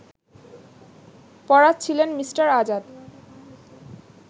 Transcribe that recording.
পড়াচ্ছিলেন Mr: Azad